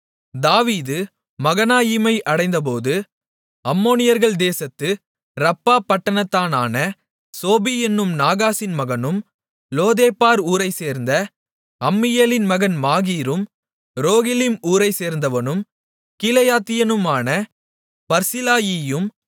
தாவீது மகனாயீமை அடைந்தபோது அம்மோனியர்கள் தேசத்து ரப்பா பட்டணத்தானான சோபி என்னும் நாகாசின் மகனும் லோதேபார் ஊரைச்சேர்ந்த அம்மியேலின் மகன் மாகீரும் ரோகிலிம் ஊரைச்சேர்ந்தவனும் கீலேயாத்தியனுமான பர்சிலாயியும்